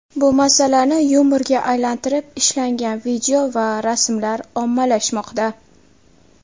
Bu masalani yumorga aylantirib, ishlangan video va rasmlar ommalashmoqda.